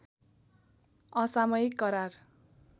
असामयिक करार